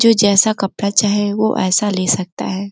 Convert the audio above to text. जो जैसा कपड़ा चाहे वो ऐसा ले सकता है।